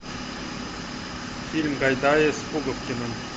фильм гайдая с пуговкиным